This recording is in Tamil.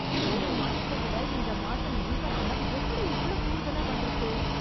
போன மாசத்தை விட இந்த மாசம் மின்கட்டணம் எப்டி இவ்ளோ கூடுதலா வந்துருக்கு...